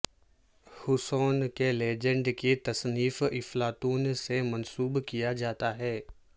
حصوں کے لیجنڈ کی تصنیف افلاطون سے منسوب کیا جاتا ہے